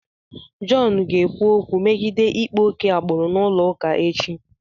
John ga-ekwu okwu megide ịkpa oke agbụrụ n'ụlọụka echi.